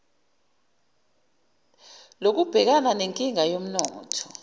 lokubhekana nenkinga yomnotho